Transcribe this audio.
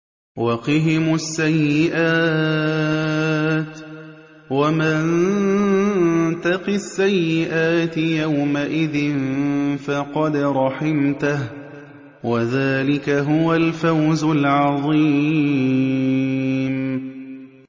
وَقِهِمُ السَّيِّئَاتِ ۚ وَمَن تَقِ السَّيِّئَاتِ يَوْمَئِذٍ فَقَدْ رَحِمْتَهُ ۚ وَذَٰلِكَ هُوَ الْفَوْزُ الْعَظِيمُ